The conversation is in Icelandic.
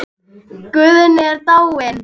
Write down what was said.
Guðni er dáinn.